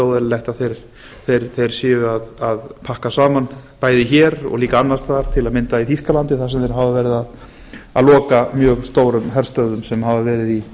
og veru ekkert óeðlilegt að þeir séu að pakka saman bæði hér og líka annars staðar til dæmis í þýskalandi þar sem þeir hafa verið að loka mjög stórum herstöðvum sem hafa verið í